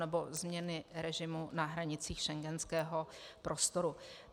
nebo změny režimu na hranicích schengenského prostoru.